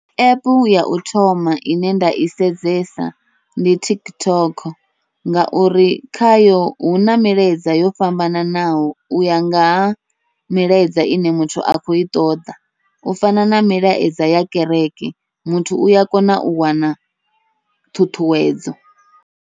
Epu yau thoma ine nda i sedzesa ndi TikTok, ngauri khayo huna milaedza yo fhambananaho uya nga ha milaedza ine muthu a kho i ṱoḓa, u fana na milaedza ya kereke muthu uya kona u wana ṱhuṱhuwedzo.